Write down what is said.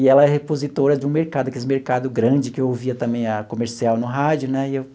E ela é repositora de um mercado, aqueles mercado grande que eu ouvia também a comercial no rádio, né?